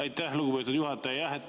Aitäh, lugupeetud juhataja!